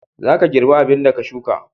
Za ka girba abin da ka sukka.